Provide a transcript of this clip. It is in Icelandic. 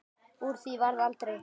Úr því varð aldrei.